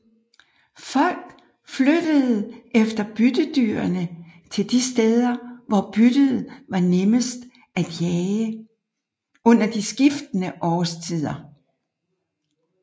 Folk flyttede efter byttedyrene til de steder hvor byttet var nemmest at jage under de skiftende årstider